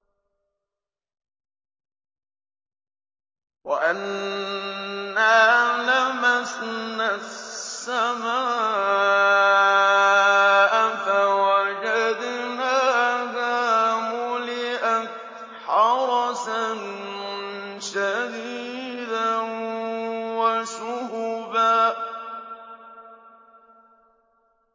وَأَنَّا لَمَسْنَا السَّمَاءَ فَوَجَدْنَاهَا مُلِئَتْ حَرَسًا شَدِيدًا وَشُهُبًا